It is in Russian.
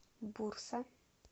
бурса